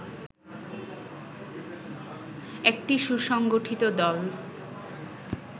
একটি সুসংগঠিত দল